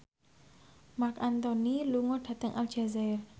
Marc Anthony lunga dhateng Aljazair